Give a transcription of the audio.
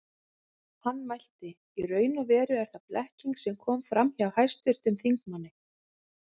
Hann mælti: Í raun og veru er það blekking sem kom fram hjá hæstvirtum þingmanni